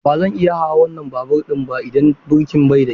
Ba zan iya hawan wannan babur ɗin ba idan birkin ba kyau.